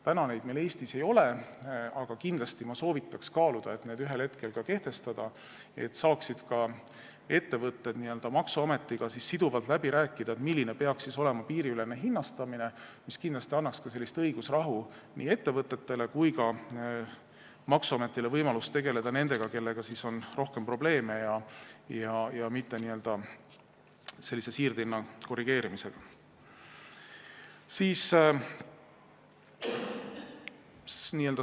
Praegu meil neid Eestis ei ole, aga kindlasti soovitaks ma kaaluda, et need võiks ühel hetkel kehtestada, selleks et ettevõtted saaksid maksuametiga siduvalt läbi rääkida, milline peaks olema piiriülene hinnastamine, mis tekitaks ettevõtetele õigusrahu ja maksuametile võimalust tegelda nendega, kellega on rohkem probleeme, mitte sellise siirdehinna korrigeerimisega.